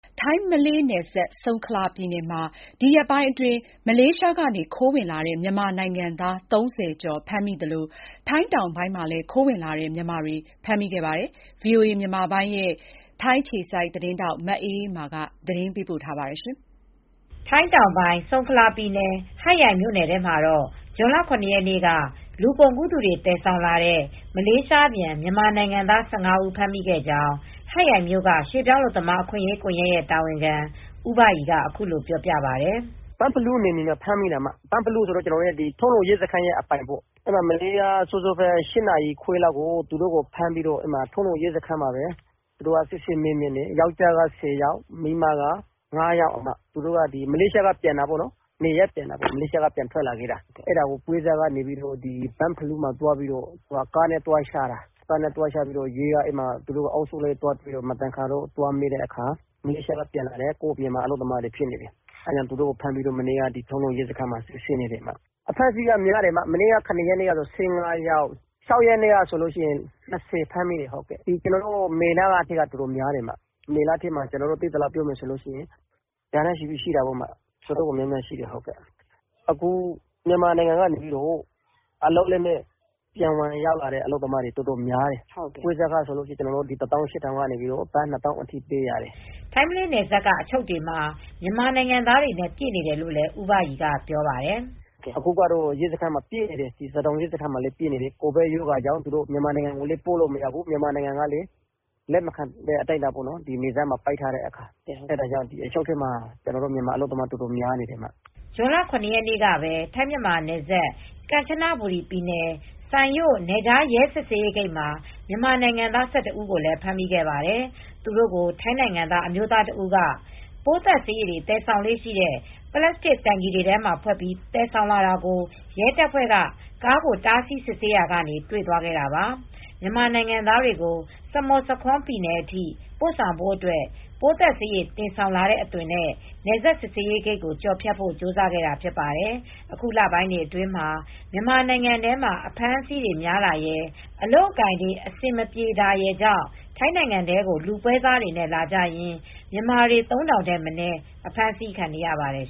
ထိုင်း-မလေးနယ်စပ်၊ ဆုံခလာပြည်နယ် ဟတ်ရိုင်မြို့နယ်ထဲမှာ ဒီရက်ထဲမှာပဲ မလေးရှားကနေ ခိုးဝင်လာတဲ့ မြန်မာနိုင်ငံသား ၃၀ကျော်ဖမ်းမိသလို ထိုင်းတောင်ပိုင်းမှာလဲ ခိုးဝင်လာတဲ့ မြန်မာတွေကို ဖမ်းမိနေပါတယ်။ ဒီဇွန်လဆန်းမှာပဲရာဂဏန်းနဲ့ ဖမ်းမိနေပါတယ်။ ဒီသတင်းကို ဗွီအိုအေသတင်းထောက် မအေးအေးမာက ပြောပြပေးပါမယ်။ ထိုင်းတောင်ပိုင်း ဆုံခလာပြည်နယ်၊ ဟတ်ရိုင်မြို့နယ်ထဲမှာတော့ ဇွန်လ ၇ ရက်နေ့က လူကုန်ကူးသူတွေ သယ်ဆောင်လာတဲ့ မလေးရှားပြန် မြန်မာနိုင်ငံသား ၁၅ဦး ဖမ်းမိခဲ့ကြောင်း ဟတ်ရိုင်မြို့က ရွှေပြောင်းအလုပ်သမား အခွင့်ရေးကွန်ယက် တာဝန်ခံဦးဘရီက အခုလို ပြောပြပါတယ်။ “ဘန့်ဖလူးနယ်မြေမှာ ဖမ်းမိတာ ဘန့်ဖလူးဆိုတာ ထုံးလုံ ရဲစခန်းအပိုင်ပေါ့။ မနေ့က မနက်စောစော ၈နာရီခွဲလောက်က ဖမ်းပြီး ထုံးလုံ ရဲစခန်းမှာ စစ်ဆေးမေးမြန်းတယ်။ ယောင်္ကျားက ၁၀ယောက်၊ အမျိုးသမီးတွေက ၅ယောက်။ သူတို့က မလေးရှားကနေ နေရပ်ပြန်ထွက်လာခဲ့တာ ပွဲစားက ဘန့်ဖလူးမှာ ကားနဲ့ သွားချတာ ၊ သူတို့ အုပ်စုလိုက် များလို့ ရဲက မသင်္ကာလို့ သွားစစ်တာ မလေးရှားကနေ ပြန်လာတဲ့ မြန်မာအလုပ်သမားတွေ ဖြစ်နေတယ်။ သူတ့ိုကို ဖမ်းပြီး မနေ့ကတော့ ထုံးလုံ ရဲစခန်းမှာ စစ်ဆေးနေတယ်။ အဖမ်းအဆီးများတယ် မနေ့က ၁၅ယောက် ဇွန်လ ၆ရက်နေ့မှာ ၂၀ယောက် ဖမ်းမိတယ်။ မေလထဲမှာ အတော်များတယ်၊ မေလထဲမှာ ကျနော်တို့ သိသလောက်က ရာနဲ့ ချီလောက်ရှိတယ်။ အတော်များတယ် မြန်မာနိုင်ငံထဲကနေ ဝင်လာတဲ့ အလုပ်လက်မဲ့တွေ အတော်များတယ်။ ပွဲစားကတော့ ဘတ်ငွေ၁၈၀၀၀ ကနေ ဘတ်ငွေ ၂၀၀၀၀လောက်ထိပေးရတယ်။” ထိုင်း-မလေးနယ်စပ်က အချုပ်တွေမှာ မြန်မာနိုင်ငံသားတွေနဲ့ ပြည့်နေတယ်လို့လည်း ဦးဘရီက ပြောပါတယ်။ “အခုစဒေါင်ရဲစခန်းမှာ ပြည့်နေတယ်၊ ကိုဗစ်ကြောင့် မြန်မာနိုင်ငံကိုလည်း ပို့မရဘူး။ မြန်မာနိုင်ငံ ကလည်း နယ်စပ်တွေ ပိတ်နေတေ့ာ လက်မခံနိုင်တဲ့ အတိုင်းအတာရှိတယ်။ အချုပ်ထဲမှာ ကျနော်တို့ မြန်မာအလုပ်သမားတွေ အတော်များနေတယ်။” ဇွန်လ ရက်နေ့ကပဲထိုင်းမြန်မာနယ်စပ် ကမ်ချနဘူရီ ပြည်နယ်စိုင်ရို့ နယ်ခြားရဲစစ်ဆေးရေး ဂိတ်မှာ မြန်မာနိုင်ငံသား ၁၁ဦးကို ဖမ်းမိခဲ့ပါတယ်။သူတို့ကို ထိုင်းနိုင်ငံသား အမျိုးသားတစ်ဦးက ပိုးသတ်ဆေးရည် တွေသယ်ဆောင်လေ့ရှိတဲ့ ပလပ်စတစ်တိုင်ကီ တွေထဲမှာ ဖွတ်ပြီး တင်ဆောင်လာတာကို ရဲတပ်ဖွဲ့က ကားကို တားဆီး စစ်ဆေးခဲ့ရာက တွေ့သွားခဲ့တာပါ။ မြန်မာနိုင်ငံသားတွေကို စမုတ်ဆာခွန် ပြည်နယ်အထိ ပို့ဆောင်ဖို့အတွက်ပိုးသတ်ဆေး ရည် တင်ဆောင်လာတဲ့ အသွင် နဲ့ နယ်စပ် စစ်ဆေးရေးဂိတ်ကို ကျော်ဖြတ်ဖို့ ကြိုးစားခဲ့တာ ဖြစ်ပါတယ်။ အခုလပိုင်းတွေ အတွင်းမှာ မြန်မာနိုင်ငံထဲမှာ အဖမ်းအဆီးတွေများတာရယ် အလုပ်အကိုင် အဆင်မပြေတာရယ်ကြောင့် ထိုင်းနိုင်ငံထဲကို လူပွဲစားတွေနဲ့ လာကြရင်း မြန်မာတွေ ၃၀၀၀ ထက်မနည်း အဖမ်းအဆီး ခံနေရပါတယ်